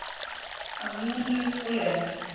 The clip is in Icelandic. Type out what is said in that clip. Af Júlíu og Lenu.